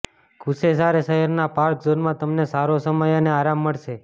કૂશેસારે શહેરના પાર્ક ઝોનમાં તમને સારો સમય અને આરામ મળશે